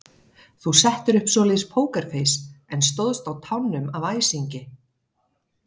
Þú settir upp svoleiðis pókerfeis en stóðst á tánum af æsingi.